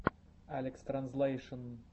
алекстранзлэйшн